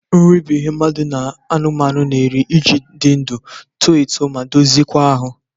Nri bụ ihe mmadụ na anụmanụ n'eri iji dị ndụ, too etu ma dozie kwa ahụ.